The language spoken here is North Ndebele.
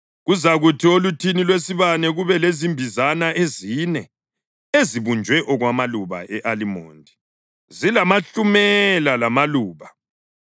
Kuzakuthi oluthini lwesibane kube lezimbizana ezine ezibunjwe okwamaluba e-alimondi, zilamahlumela lamaluba.